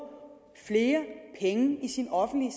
flere penge i sin offentlige